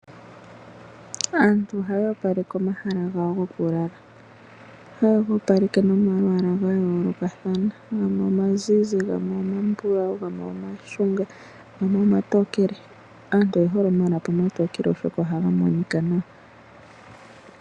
Aantu ohaya opaleke omahala gawo gokulala. Ohayegoopaleke nomalwaala gayoolokathana gamwe imazize, gamwe omambulawu, gamwe omashunga, gamwe omatokele. Aantu oye hole omalapi omatookele oshoka ohaga monika nawa.